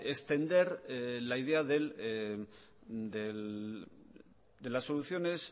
extender la idea de las soluciones